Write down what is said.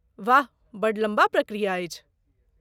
वाह, बड्ड लम्बा प्रक्रिया अछि।